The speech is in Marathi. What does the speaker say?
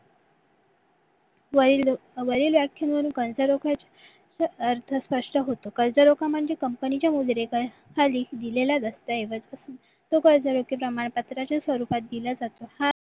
वरील व्याख्या वरून जर कर्जरोख अर्थ स्पष्ट होतो कर्जरोखा म्हणजे company चे मुद्दतेखाली दिलेल्या दस्ताऐवजात प्रमाणपत्राच्या स्वरूपात दिला जातो हा